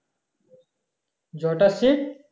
জয়টা seat